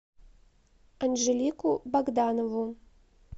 анжелику богданову